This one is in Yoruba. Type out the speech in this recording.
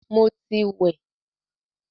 Mo ti wẹ̀